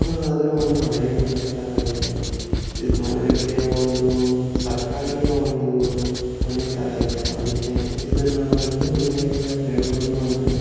ಇದು ನೋಡೋದಾದ್ರೆ ಒಂದು ಹಳೆ ಮನೆ ತರ ಇದೆ. ಇದು ನೋಡ್ಲಿಕ್ಕೆ ಒಂದು ಸರ್ಕಾರಿಯಾ ಒಂದು ಮನೆ ತರ ಇದೆ . ಅದಕ್ಕೆ ಇದನ್ನು ಇನ್ನು ಏನೆಲ್ಲ ಹೇಳ್ಬೋದು ಅಂದರೆ--